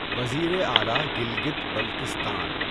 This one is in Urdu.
وزیر اعلٰی گلگت بلتستان